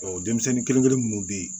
denmisɛnnin kelenkelen minnu bɛ yen